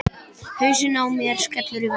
Hausinn á mér skellur í vegginn.